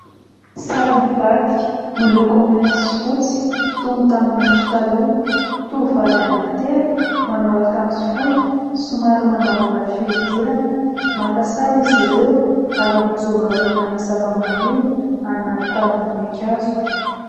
Sary mivadika miloko mainty sy fotsy toy ny tamin'ny andro taloha, tovovavy anankitelo manao akanjo fohy, somary mangamanga fihodirana, maka sary izy ireo ary mijoro eo aorinana zava-maniry anaty tavim-boninkazo.